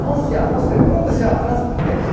Não se amostre próprio seu atraso para Deus.